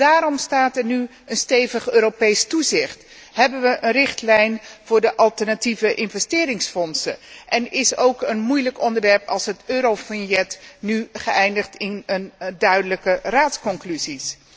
Daarom staat er nu een stevig Europees toezicht, hebben we een richtlijn voor de alternatieve investeringsfondsen en is ook een moeilijk onderwerp als het eurovignet nu geëindigd in een duidelijke Raadsconclusie.